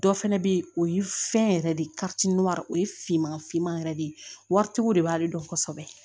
Dɔ fɛnɛ be yen o ye fɛn yɛrɛ de o ye finman finman yɛrɛ de ye waritigiw de b'ale dɔn kosɛbɛ